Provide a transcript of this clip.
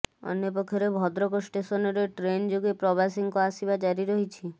ଅନ୍ୟପକ୍ଷରେ ଭଦ୍ରକ ଷ୍ଟେସନରେ ଟ୍ରେନ ଯୋଗେ ପ୍ରବାସୀଙ୍କ ଆସିବା ଜାରି ରହିଛି